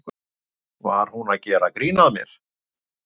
Var hún að gera grín að mér?